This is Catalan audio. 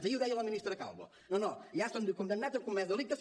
ahir ho deia la ministra calvo no no ja estan tots condemnats han comès delictes